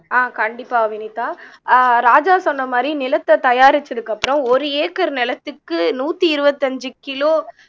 ஆஹ் கண்டிப்பா வினிதா ஆஹ் ராஜா சொன்ன மாதிரி நிலத்தை தயாரிச்சதுக்கு அப்புறம் ஒரு ஏக்கர் நிலத்துக்கு நூத்தி இருபத்தி அஞ்சு கிலோ